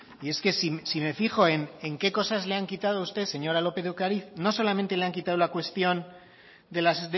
y es que si me fijo en qué cosas le han quitado usted señora lópez de ocariz no solamente le han quitado la cuestión de las